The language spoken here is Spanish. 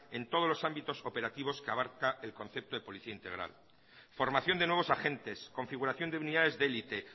en todos los ámbitos operativos que abarca el concepto de policía integral formación de nuevos agentes configuración de unidades de elite